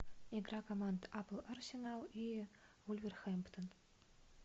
игра команд апл арсенал и вулверхэмптон